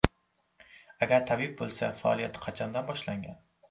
Agar tabib bo‘lsa, faoliyati qachondan boshlangan?